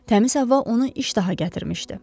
Təmiz hava onu iş daha gətirmişdi.